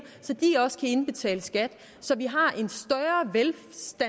så de også kan indbetale skat så vi har